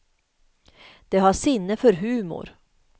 De har sinne för humor.